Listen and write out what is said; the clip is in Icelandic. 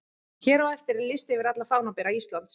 Hér á eftir er listi yfir alla fánabera Íslands: